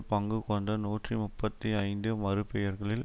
பங்கு கொண்ட நூற்றி முப்பத்தி ஐந்து மறுபெயர்களில்